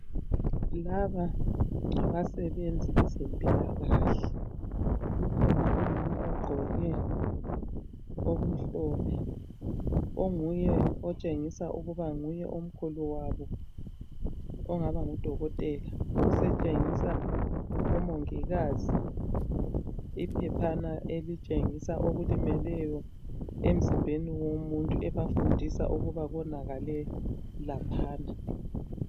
Laba ngabasebenzi beze mpilakahle kukhona umama ogqoke okumhlophe onguye otshengisa ukuba nguye omkhulu wabo ongaba ngudokotela, osetshengisa omongikazi iphephana elitshengisa okulimeleyo emzimbeni womuntu ebafundisa ukuba konakale laphana.